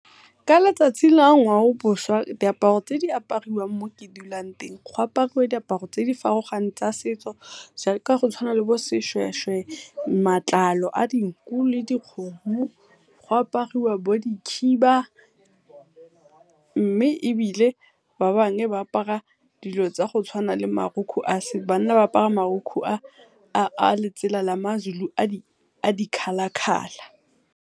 Ka letsatsi la diaparo tse di aparawang mo ke dulang teng, go aparwa diaparo tse di farologaneng tsa setso jaaka go tshwana le bo seshweshwe matlalo a dinku le dikgomo, go aparwa bo di khiba mme ebile ba bangwe ba apara dilo tsa go tshwana le marukgu a banna ba apara marokgwe a letsela la maZulu a di-colour-colour.